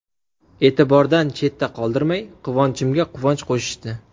E’tibordan chetda qoldirmay, quvonchimga quvonch qo‘shishdi.